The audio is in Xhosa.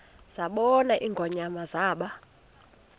zabona ingonyama zaba